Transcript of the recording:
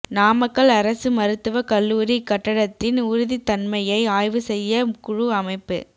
நாமக்கல் அரசு மருத்துவக் கல்லூரி கட்டடத்தின் உறுதித் தன்மையை ஆய்வு செய்ய குழு அமைப்பு